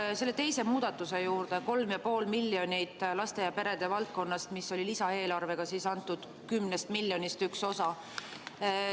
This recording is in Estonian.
Tulen selle teise muudatuse juurde, 3,5 miljonit eurot laste ja perede valdkonnast, mis oli lisaeelarvega antud 10 miljonist üks osa.